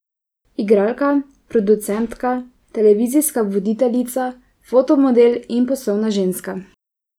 Igralka, producentka, televizijska voditeljica, fotomodel in poslovna ženska.